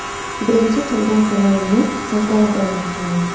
Birinchi qilgan to‘lovimni qaytarib olmoqchiman.